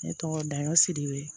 Ne tɔgɔ dago sidibe